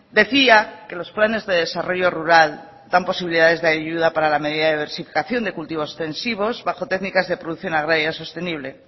decía que los planes de desarrollo rural dan posibilidades de ayuda para la medida de diversificación de cultivos extensivos bajo técnicas de producción agraria sostenible